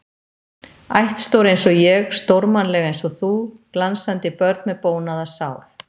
Ættstór einsog ég, stórmannleg einsog þú, glansandi börn með bónaða sál.